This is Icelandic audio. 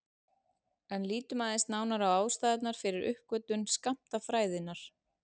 En lítum aðeins nánar á ástæðurnar fyrir uppgötvun skammtafræðinnar.